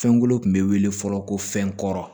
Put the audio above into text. Fɛnkolo tun bɛ wele fɔlɔ ko fɛn kɔrɔ